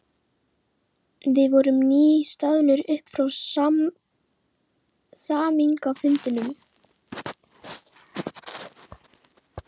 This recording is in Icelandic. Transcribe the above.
Við vorum nýstaðnir upp frá samningafundinum.